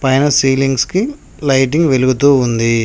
పైన సీలింగ్స్ కి లైటింగ్ వెలుగుతూ ఉంది.